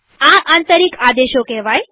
આ આંતરિક આદેશો કેહવાય